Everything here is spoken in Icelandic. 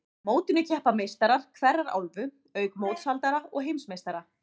Á mótinu keppa meistarar hverrar álfu, auk mótshaldara og heimsmeistara.